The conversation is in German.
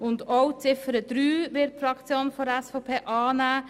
Wir werden auch Ziffer 3 annehmen.